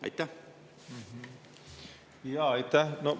Aitäh!